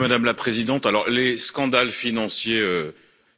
Madame la présidente, alors les scandales financiers